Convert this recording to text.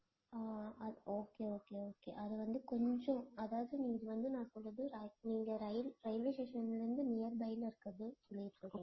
அஹ் okay okay okay அது வந்து கொஞ்சம் அதாவது இது வந்து நான் சொல்றது நீங்க rail~ railway station ல இருந்து nearby ல இருக்கறது சொல்லிட்டு இருக்கேன்